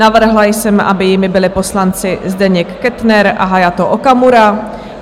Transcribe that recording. Navrhla jsem, aby jimi byli poslanci Zdeněk Kettner a Hayato Okamura.